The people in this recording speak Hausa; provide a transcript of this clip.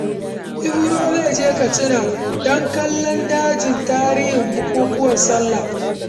Ibro zai je Katsina don kallo da jin tarihin bukukkuwan Sallah.